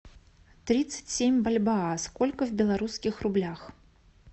тридцать семь бальбоа сколько в белорусских рублях